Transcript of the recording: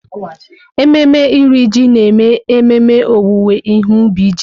Ememe Iri Ji na-eme ememe owuwe ihe ubi ji.